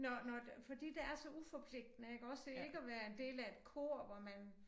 Når når fordi det er så uforpligtende iggås det ikke at være en del af et kor hvor man